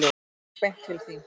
Ég gekk beint til þín.